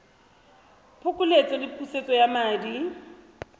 phokoletso le pusetso ya madi